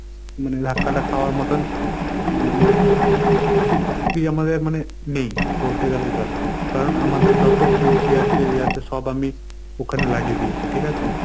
মানে ধাক্কাটা খাওয়ার মতন মানে শক্তি আমাদের মানে নেই বলতে গেলেই চলে। কারণ আমাদের যত পুঁজি আছে এই আছে সব আমি ওখানে লাগিয়ে দিয়েছি। ঠিকাছে?